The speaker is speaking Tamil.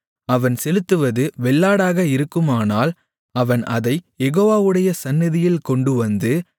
அவன் செலுத்துவது வெள்ளாடாக இருக்குமானால் அவன் அதைக் யெகோவாவுடைய சந்நிதியில் கொண்டுவந்து